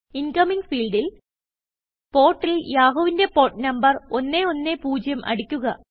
Incomingഫീൽഡിൽ Portൽ യാഹൂവിന്റെ port number 110 അടിക്കുക